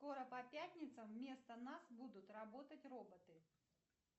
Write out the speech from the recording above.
скоро по пятницам вместо нас будут работать роботы